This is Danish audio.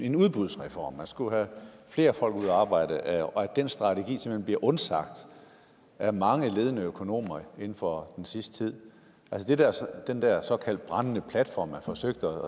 en udbudsreform man skulle have flere folk ud at arbejde og at den strategi simpelt undsagt af mange ledende økonomer inden for den sidste tid den der såkaldte brændende platform man forsøgte